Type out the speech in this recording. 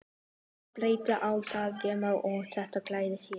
Hvað bjátaði á hjá þeim og hvað gladdi þær?